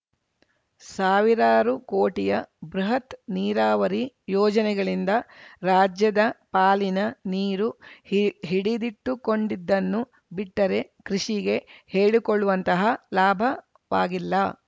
ಸಾವಿರಾರು ಕೋಟಿಯ ಬೃಹತ್‌ ನೀರಾವರಿ ಯೋಜನೆಗಳಿಂದ ರಾಜ್ಯದ ಪಾಲಿನ ನೀರು ಹಿಡಿ ಹಿಡಿದಿಟ್ಟುಕೊಂಡಿದ್ದನ್ನು ಬಿಟ್ಟರೆ ಕೃಷಿಗೆ ಹೇಳಿಕೊಳ್ಳುವಂತಹ ಲಾಭವಾಗಿಲ್ಲ